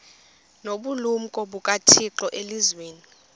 nobulumko bukathixo elizwini